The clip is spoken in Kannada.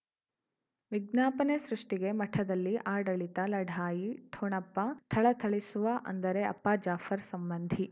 ವಿಜ್ಞಾಪನೆ ಸೃಷ್ಟಿಗೆ ಮಠದಲ್ಲಿ ಆಡಳಿತ ಲಢಾಯಿ ಠೊಣಪ ಥಳಥಳಿಸುವ ಅಂದರೆ ಅಪ್ಪ ಜಾಫರ್ ಸಂಬಂಧಿ